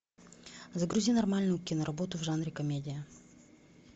загрузи нормальную киноработу в жанре комедия